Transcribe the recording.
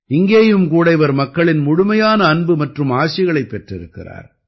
இங்கேயும் கூட இவர் மக்களின் முழுமையான அன்பு மற்றும் ஆசிகளைப் பெற்றிருக்கிறார்